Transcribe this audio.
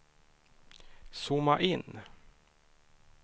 zooma in